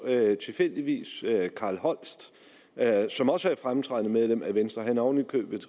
tilfældigvis at carl holst som også er et fremtrædende medlem af venstre han er oven i købet